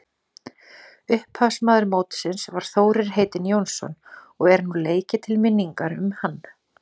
Upphafsmaður mótsins var Þórir heitinn Jónsson og er nú leikið til minningar um hann.